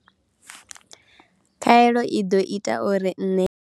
Khaelo i ḓo ita uri nṋe.